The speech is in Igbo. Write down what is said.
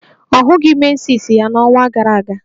Ọ hụghị menses ya n'ọnwa gara aga